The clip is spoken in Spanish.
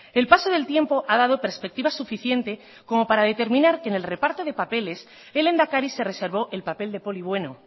el paso del tiempo ha dado perspectiva suficiente como para determinar que en el reparto de papeles el lehendakari se reservó el papel de poli bueno